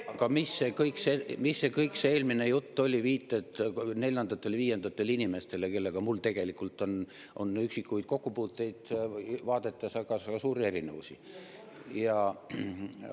Aga mis see kogu eelmine jutt oli, viited neljandatele-viiendatele inimestele, kellega mul tegelikult on üksikuid kokkupuuteid vaadetes, aga ka suuri erinevusi?